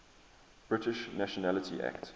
british nationality act